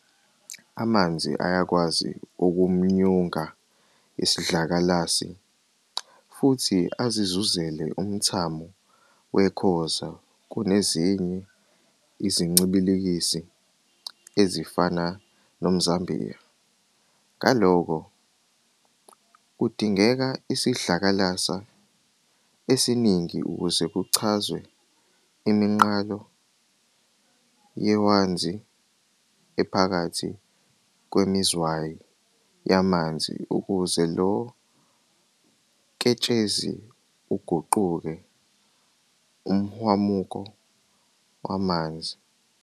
Amanzi ayakwazi ukumunyunga isidlakalasi, futhi azizuzele umthamo wekhoza kunezinye izincibilikisi ezifana nomzambiya. Ngalokho, kudingeka isidlakalasi esiningi ukuze kucazwe iminqalo yehwanzi ephakathi kwemizwayi yamanzi ukuze lo ketshezi uguquke umhwamuko wamanzi.